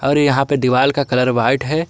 अरे यहां पे दीवाल का कलर व्हाइट है।